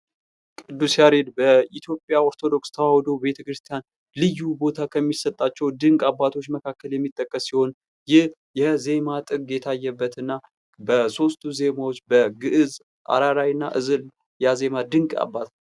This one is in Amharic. ቅዱስ ያሬድ በኢትዮጵያ ኦርቶዶክስ ተዋህዶ ቤተክርስቲያን ልዩ ቦታ ከሚሰጣቸው ድንቅ አባቶች መካከል የሚጠቀስ ሲሆን ይህ የዜማ ጥግ የታየበት እና በሦስቱ ዜማዎች በግዕዝ ፣እራራይ እና ዕዝል የአዜመ ድንቅ አባት ነው።